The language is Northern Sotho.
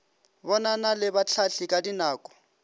bonana le bahlahli ka dinako